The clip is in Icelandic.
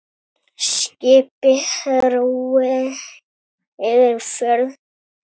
Skipi róið yfir fjörð.